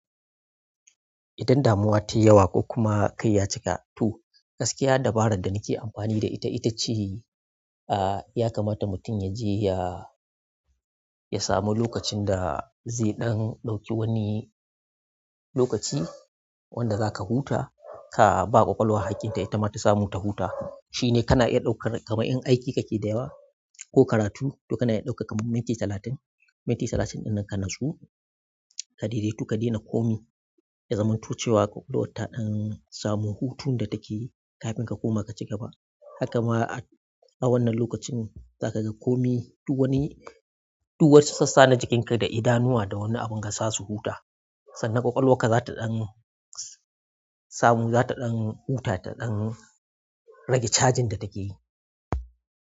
Idan damuwa ta yi yawa ko kuma kai ya cika to gaskiya dabarar da nake amfani da ita, ita ce, ah, ya kamata mutum ya je ya samu lokacin da zai ɗan ɗauki wani lokaci wanda za ka huta, ka ba ƙwaƙwalwa hakkin ta, ita ma ta samu ta huta. Shi ne kana iya ɗaukar, kamar in aiki kake da yawa ko karatu, to kana iya ɗaukar kamar minti talatin, minti talatin ɗin nan ka natsu ka dai dai tu ka daina komai, ha zamanto cewa ƙwaƙwalwa ta ɗan samu hutun da take kafin ka koma ka ci gaba. Haka ma a wannan lokacin za ka ga komai duk wani, duk wacce sassa na jikinka da idanuwa da wani abun ka sasu huta. Sannan ƙwaƙwalwarka za ta ɗan samamo, za ta ɗan huta, ta ɗan rage cajin da take yi.